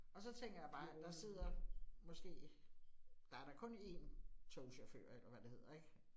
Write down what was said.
Og så tænker jeg bare, at der sidder måske, der er da kun én togchauffør eller hvad det hedder ik